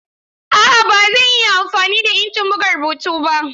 A'a ba zan iya amfani da injin buga rubutu ba.